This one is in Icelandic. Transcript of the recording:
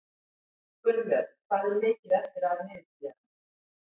Gunnlöð, hvað er mikið eftir af niðurteljaranum?